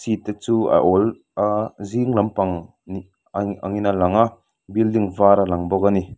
te chu a awl a zing lampang ni a angin a lang a building var a lang bawk a ni.